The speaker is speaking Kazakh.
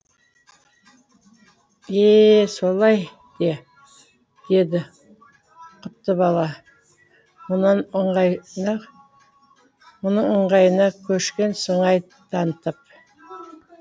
е е солай де деді қаттыбала мұның ыңғайына көшкен сыңай танытып